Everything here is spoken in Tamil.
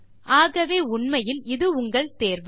ஆகவே உண்மையில் இது உங்கள் தேர்வு